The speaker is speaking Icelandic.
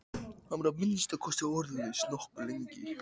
Hann var að minnsta kosti orðlaus nokkuð lengi.